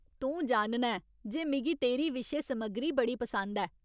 तूं जानना ऐं जे मिगी तेरी विशे समग्गरी बड़ी पसंद ऐ।